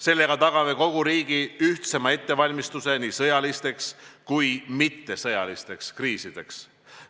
Sellega tagame kogu riigi ühtsema ettevalmistuse nii sõjalisteks kui ka mittesõjalisteks kriisideks.